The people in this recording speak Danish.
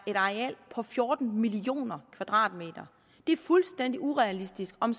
et areal på fjorten millioner kvadratmeter det er fuldstændig urealistisk om